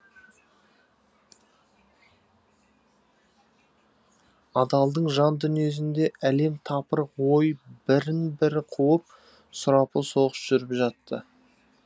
адалдың жан дүниесінде әлем тапырық ой бірін бірі қуып сұрапыл соғыс жүріп жатты